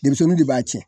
Denmisɛnninw de b'a tiɲɛ